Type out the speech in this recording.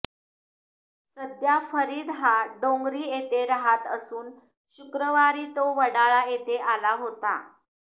सध्या फरीद हा डोंगरी येथे राहत असून शुक्रवारी तो वडाळा येथे आला होता